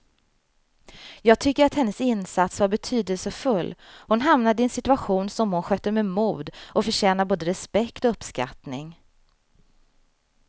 Jag tycker att hennes insats var betydelsefull, hon hamnade i en situation som hon skötte med mod och förtjänar både respekt och uppskattning.